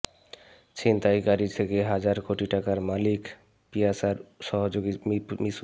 ছিনতাইকারী থেকে হাজার কোটি টাকার মালিক পিয়াসার সহযোগী মিশু